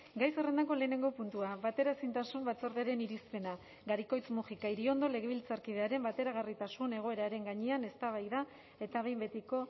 gai zerrendako lehenengo puntua bateraezintasun batzordearen irizpena garikoitz mujika iriondo legebiltzarkidearen bateragarritasun egoeraren gainean eztabaida eta behin betiko